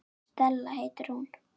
Stella heitir hún.